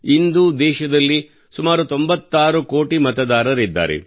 ಇಂದು ದೇಶದಲ್ಲಿ ಸುಮಾರು 96 ಕೋಟಿ ಮತದಾರರಿದ್ದಾರೆ